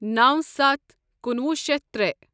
نوَ سَتھ کنُوہُ شیتھ ترے